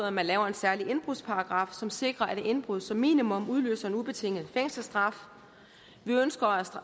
at man laver en særlig indbrudsparagraf som sikrer at indbrud som minimum udløser en ubetinget fængselsstraf vi ønsker